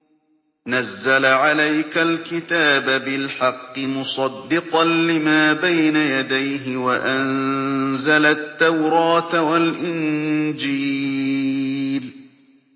نَزَّلَ عَلَيْكَ الْكِتَابَ بِالْحَقِّ مُصَدِّقًا لِّمَا بَيْنَ يَدَيْهِ وَأَنزَلَ التَّوْرَاةَ وَالْإِنجِيلَ